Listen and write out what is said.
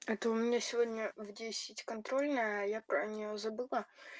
это у меня сегодня в десять контрольная а я про неё забыла